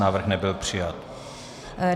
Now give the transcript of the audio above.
Návrh nebyl přijat.